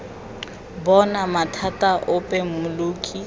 bo na mathata ape mmoki